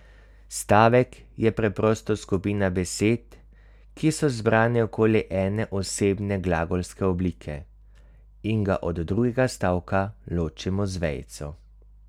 Stavek je preprosto skupina besed, ki so zbrane okoli ene osebne glagolske oblike, in ga od drugega stavka ločimo z vejico.